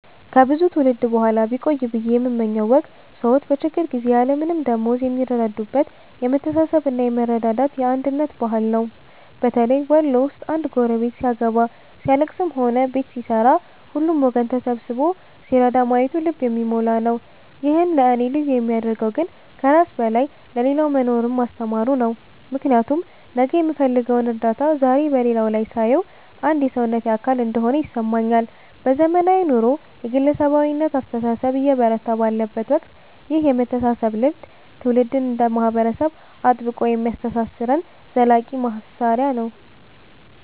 ከብዙ ትውልድ በኋላ ቢቆይ ብየ የምመኘው ወግ ሰዎች በችግር ጊዜ ያለምንም ደመወዝ የሚረዳዱበት የመተሳሰብና የመረዳዳት፣ የአንድነት ባህል ነው። በተለይ ወሎ ውስጥ አንድ ጎረቤት ሲያገባ፣ ሲያልለቅስም ሆነ ቤት ሲሠራ ሁሉም ወገን ተሰብስቦ ሲረዳ ማየቱ ልብን የሚሞላ ነው። ይህን ለእኔ ልዩ የሚያደርገው ግን ከራስ በላይ ለሌላው መኖርን ማስተማሩ ነው፤ ምክንያቱም ነገ የምፈልገውን እርዳታ ዛሬ በሌላው ላይ ሳየው አንድ የሰውነቴ አካል እንደሆነ ይሰማኛል። በዘመናዊው ኑሮ የግለሰባዊነት አስተሳሰብ እየበረታ ባለበት ወቅት ይህ የመተሳሰብ ልምድ ትውልድ እንደ ማህበረሰብ አጥብቆ የሚያስተሳስረን ዘላቂ ማሰሪያ ነው።